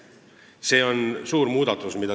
See on suur muudatus.